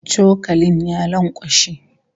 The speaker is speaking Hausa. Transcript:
Cokalin ya lankwashe